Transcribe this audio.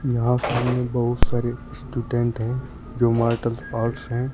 यहां सामने बहुत सारे स्टूडेंट है जो मार्शल आर्ट्स हैं।